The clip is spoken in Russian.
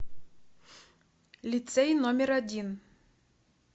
лицей номер один